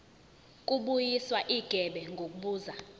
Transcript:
kubuyiswa igebe ngokubuza